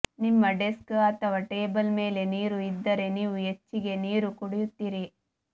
ನಿಮ್ಮ ಡೆಸ್ಕ್ ಅಥವಾ ಟೇಬಲ್ ಮೇಲೆ ನೀರು ಇದ್ದರೆ ನೀವು ಹೆಚ್ಚಿಗೆ ನೀರು ಕುಡಿಯುತ್ತೀರಿ